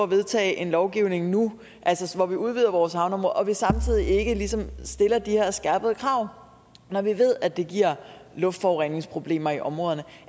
vedtage en lovgivning nu hvor vi udvider vores havneområde og vi samtidig ikke stiller de her skærpede krav når vi ved at det giver luftforureningsproblemer i områderne